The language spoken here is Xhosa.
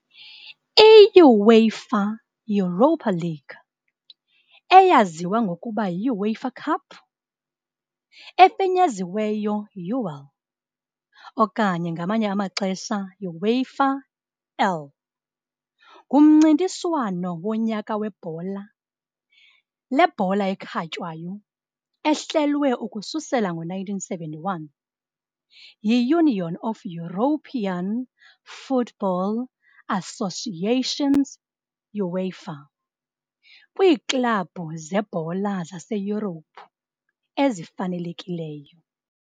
I-UEFA Europa League, eyaziwa ngokuba yi-UEFA Cup, efinyeziweyo UEL, okanye ngamanye amaxesha, UEFA EL, ngumncintiswano wonyaka webhola lebhola ekhatywayo ehlelwe ukususela ngo-1971 yi-Union of European Football Associations, UEFA, kwiiklabhu zebhola zaseYurophu ezifanelekileyo.